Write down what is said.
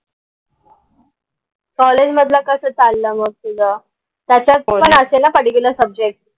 College मधलं कस चाललंय मग तुझं त्याच्यात असेल ना particularsubject?